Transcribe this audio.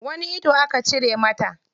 Wani ido aka cire mata?